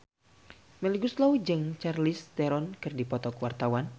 Melly Goeslaw jeung Charlize Theron keur dipoto ku wartawan